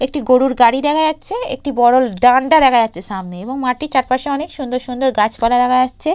একটি গরুর গাড়ি দেখা যাচ্ছে একটি বড় ডান্ডা দেখা যাচ্ছে সামনে এবং মাটি চারপাশে অনেক সুন্দর সুন্দর গাছপালা দেখা যাচ্ছে।